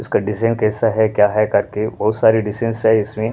उसका डिजाइन कैसा हैक्या है करके बहुत सारे डिजानस है इसमें--